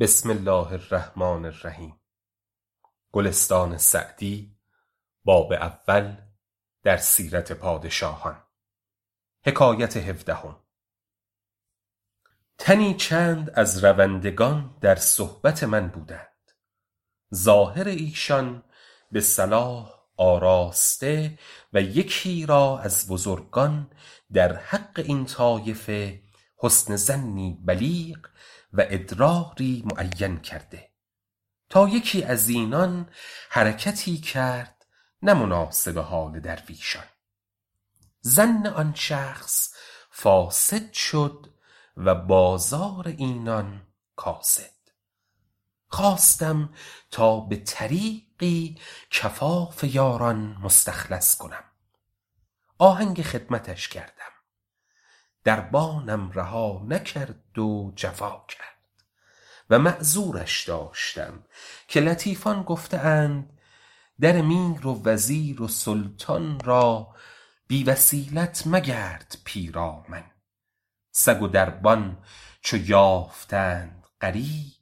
تنی چند از روندگان در صحبت من بودند ظاهر ایشان به صلاح آراسته و یکی را از بزرگان در حق این طایفه حسن ظنی بلیغ و ادراری معین کرده تا یکی از اینان حرکتی کرد نه مناسب حال درویشان ظن آن شخص فاسد شد و بازار اینان کاسد خواستم تا به طریقی کفاف یاران مستخلص کنم آهنگ خدمتش کردم دربانم رها نکرد و جفا کرد و معذورش داشتم که لطیفان گفته اند در میر و وزیر و سلطان را بی وسیلت مگرد پیرامن سگ و دربان چو یافتند غریب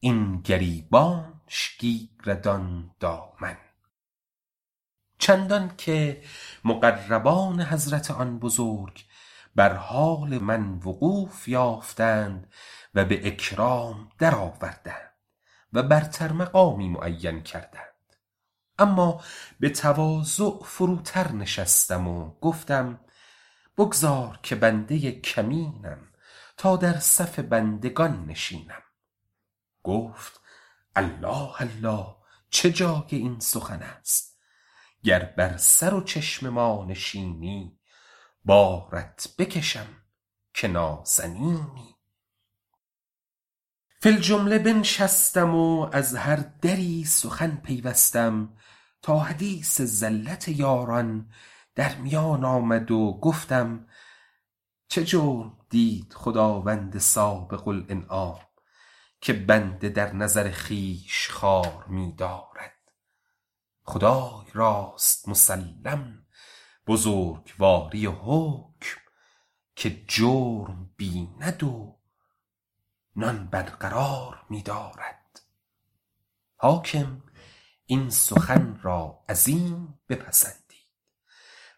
این گریبانش گیرد آن دامن چندان که مقربان حضرت آن بزرگ بر حال وقوف من وقوف یافتند و به اکرام درآوردند و برتر مقامی معین کردند اما به تواضع فروتر نشستم و گفتم بگذار که بنده کمینم تا در صف بندگان نشینم گفت الله الله چه جای این سخن است گر بر سر و چشم ما نشینی بارت بکشم که نازنینی فی الجمله بنشستم و از هر دری سخن پیوستم تا حدیث زلت یاران در میان آمد و گفتم چه جرم دید خداوند سابق الانعام که بنده در نظر خویش خوار می دارد خدای راست مسلم بزرگواری و حکم که جرم بیند و نان برقرار می دارد حاکم این سخن را عظیم بپسندید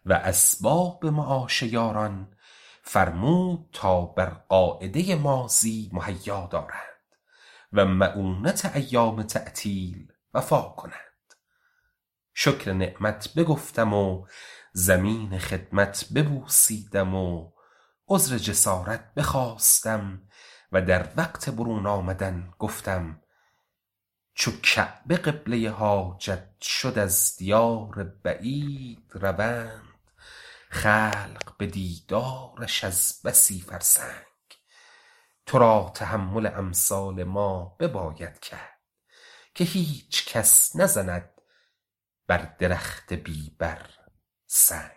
و اسباب معاش یاران فرمود تا بر قاعده ماضی مهیا دارند و مؤونت ایام تعطیل وفا کنند شکر نعمت بگفتم و زمین خدمت ببوسیدم و عذر جسارت بخواستم و در وقت برون آمدن گفتم چو کعبه قبله حاجت شد از دیار بعید روند خلق به دیدارش از بسی فرسنگ تو را تحمل امثال ما بباید کرد که هیچ کس نزند بر درخت بی بر سنگ